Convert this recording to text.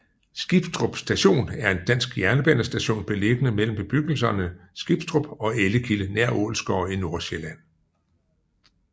Skibstrup Station er en dansk jernbanestation beliggende mellem bebyggelserne Skibstrup og Ellekilde nær Ålsgårde i Nordsjælland